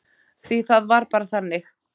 Því það var bara þannig.